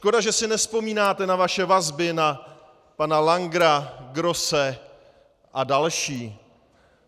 Škoda, že si nevzpomínáte na vaše vazby na pana Langera, Grosse a další.